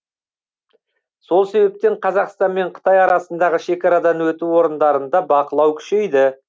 сол себептен қазақстан мен қытай арасындағы шекарадан өту орындарында бақылау күшейді